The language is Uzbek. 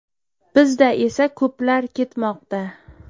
Bizda esa ko‘plar ketmoqda.